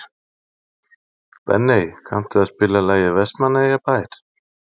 Benney, kanntu að spila lagið „Vestmannaeyjabær“?